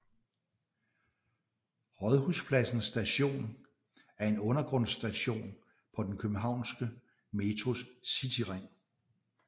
Rådhuspladsen Station er en undergrundsstation på den københavnske Metros Cityring